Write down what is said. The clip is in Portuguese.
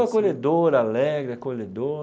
Povo acolhedor, alegre, acolhedor.